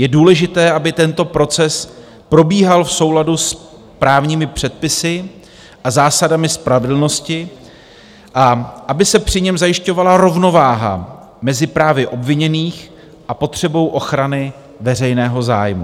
Je důležité, aby tento proces probíhal v souladu s právními předpisy a zásadami spravedlnosti a aby se při něm zajišťovala rovnováha mezi právy obviněných a potřebou ochrany veřejného zájmu.